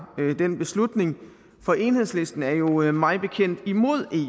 den beslutning for enhedslisten er jo jo mig bekendt imod